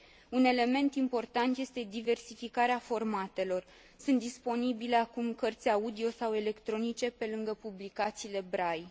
Un element important este diversificarea formatelor sunt disponibile acum cărți audio sau electronice, pe lângă publicațiile Braille.